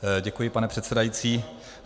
Děkuji, pane předsedající.